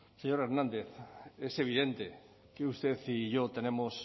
señor hernández es evidente que usted y yo tenemos